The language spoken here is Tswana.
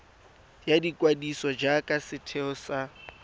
ya ikwadiso jaaka setheo sa